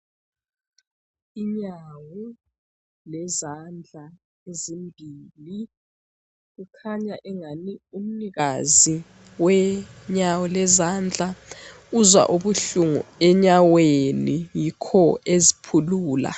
Inyawo lezandla ezimbili kukhanya engani umnikazi wenyawo lezandla uzwa ubuhlungu enyaweni yikho eziphulula.